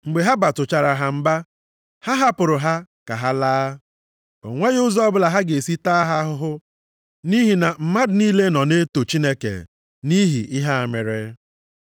Mgbe ha batụchara ha mba, ha hapụrụ ha ka ha laa. O nweghị ụzọ ọbụla ha ga-esi taa ha ahụhụ nʼihi na mmadụ niile nọ na-eto Chineke nʼihi ihe a mere.